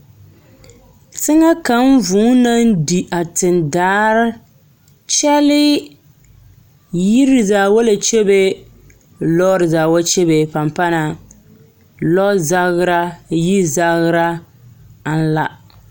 teŋɛ kaŋ vũũ naŋ di a tendaa kyɛlee, yiri zaa wa la kyebe, lɔɔre zaa wa kyebe pampana lɔzagera, yizagera aŋ la.